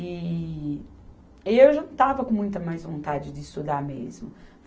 E eu já não estava com muita mais vontade de estudar mesmo.